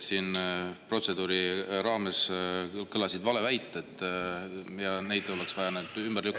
Siin protseduuri raames kõlasid valeväited ja neid oleks vaja ümber lükata.